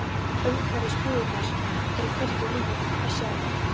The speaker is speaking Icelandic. Umhverfis búðirnar er hvergi líf að sjá.